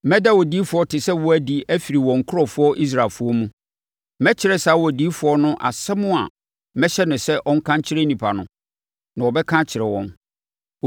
Mɛda odiyifoɔ te sɛ wo adi afiri wɔn nkurɔfoɔ Israelfoɔ mu. Mɛkyerɛ saa odiyifoɔ no asɛm a mɛhyɛ no sɛ ɔnka nkyerɛ nnipa no, na ɔbɛka akyerɛ wɔn.